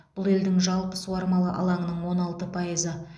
бұл елдің жалпы суармалы алаңының он алты пайызы